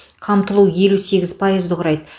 қамтылу елу сегіз пайызды құрайды